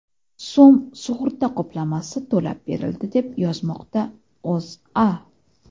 so‘m sug‘urta qoplamasi to‘lab berildi, deb yozmoqda O‘zA.